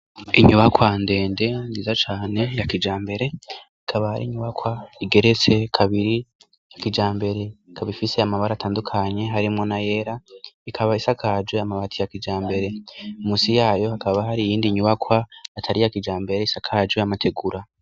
Inyubakwa ndende nziza cane ya kijambere, ikaba ari nyubakwa igeretse kabiri kijambere , ikaba ifise amabara atandukanye harimo nayera. Ikaba isakaje amabati ya kijambere, munsi yayo hakaba hari iyindi nyubakwa atari iya kijambere isakaje amategura.